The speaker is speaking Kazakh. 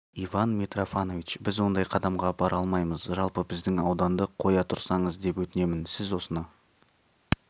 иван митрофанович біз ондай қадамға бара алмаймыз жалпы біздің ауданды қоя тұрсаңыз деп өтінемін сіз осыны